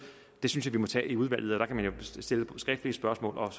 synes jeg vi må tage i udvalget og der kan man jo stille skriftlige spørgsmål og